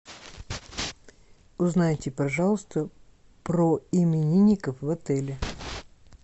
узнайте пожалуйста про именинников в отеле